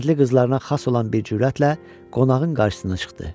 Kəndli qızlarına xas olan bir cürətlə qonağın qarşısına çıxdı.